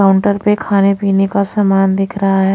Counter पे खाने-पीने का सामान दिख रहा है।